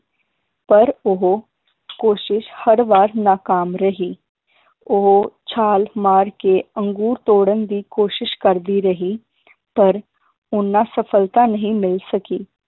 ਪਰ ਉਹ ਕੋਸ਼ਿਸ਼ ਹਰ ਵਾਰ ਨਾਕਾਮ ਰਹੀ ਉਹ ਛਾਲ ਮਾਰ ਕੇ ਅੰਗੂਰ ਤੋੜਨ ਦੀ ਕੋਸ਼ਿਸ਼ ਕਰਦੀ ਰਹੀ ਪਰ ਉਹਨਾਂ ਸਫਲਤਾ ਨਹੀ ਮਿਲ ਸਕੀ